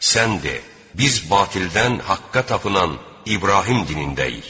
Sən de: Biz batildən haqqa tapınan İbrahim dinindəyik.